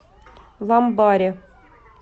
ламбаре